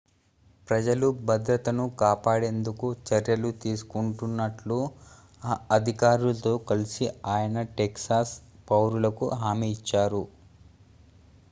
ప్రజల భద్రతను కాపాడేందుకు చర్యలు తీసుకుంటున్నట్లు ఆ అధికారులతో కలిసి ఆయన టెక్సాస్ పౌరులకు హామీ ఇచ్చారు